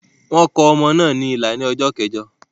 Wọ́n kò ọmọ náà ní ìlà ní ọjọ́ keẹ̀jọ.